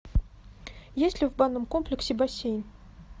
есть ли в банном комплексе бассейн